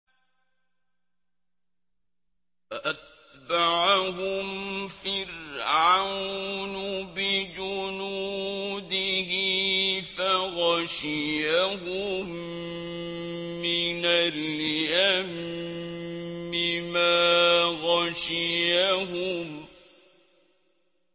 فَأَتْبَعَهُمْ فِرْعَوْنُ بِجُنُودِهِ فَغَشِيَهُم مِّنَ الْيَمِّ مَا غَشِيَهُمْ